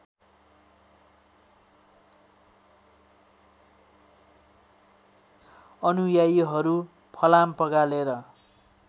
अनुयायीहरू फलाम पगालेर